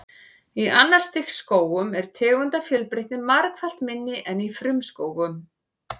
Í annars stigs skógum er tegundafjölbreytni margfalt minni en í frumskógum.